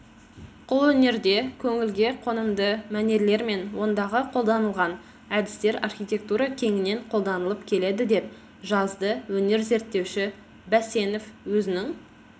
қолөнерде көңілге қонымды мәнерлер мен ондағы қолданылған әдістер архитектура кеңінен қолданылып келеді деп жазды өнер зерттеуші бәсенов өзінің